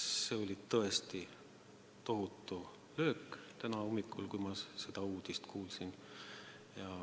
See oli tõesti tohutu löök täna hommikul, kui ma seda uudist kuulsin.